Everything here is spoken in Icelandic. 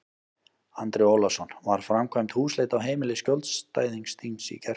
Andri Ólafsson: Var framkvæmd húsleit á heimili skjólstæðings þíns í gærkvöldi?